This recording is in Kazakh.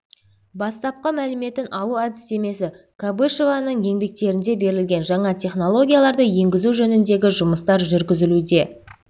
бастапқы мәліметін алу әдістемесі кобышеваның еңбектерінде берілген жаңа технологияларды енгізу жөніндегі жұмыстар жүргізілуде